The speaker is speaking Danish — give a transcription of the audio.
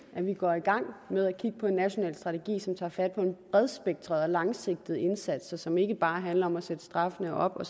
at vi går i gang med at kigge på en national strategi som tager fat på en bredspektret og langsigtet indsats og som ikke bare handler om at sætte straffene op og